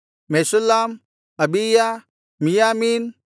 Meshullam Abijah ಮಿಯ್ಯಾಮೀನ್